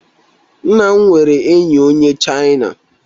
Nna m nwere enyi onye Chaina